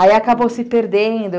Aí acabou se perdendo.